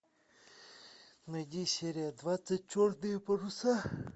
найди серия двадцать черные паруса